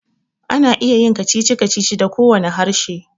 Ana iya yin kacici-kacici da kowane harshe